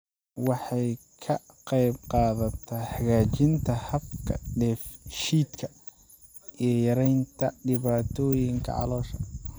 Waxay ka qaybqaadataa hagaajinta habka dheef-shiidka iyo yaraynta dhibaatooyinka caloosha.